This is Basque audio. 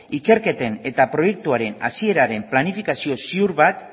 ikerketen eta proiektuaren hasieraren planifikazio ziur bat